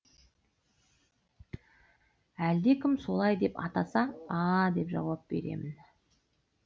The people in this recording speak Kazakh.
әлдекім солай деп атаса а деп жауап беремін